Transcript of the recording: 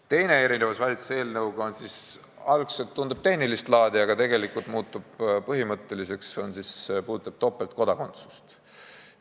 Teine erinevus valitsuse eelnõuga võrreldes tundub algselt olevat tehnilist laadi, aga tegelikult muutub põhimõtteliseks, ja see puudutab topeltkodakondsust.